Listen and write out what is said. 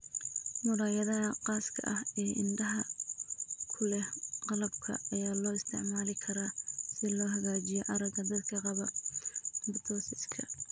Muraayadaha khaaska ah ee indhaha ku leh "qalabka" ayaa loo isticmaali karaa si loo hagaajiyo aragga dadka qaba ptosiska.